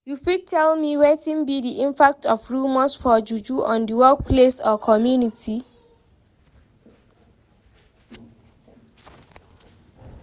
You fit tell me wetin be di impact of rumors for juju on di workplace or community?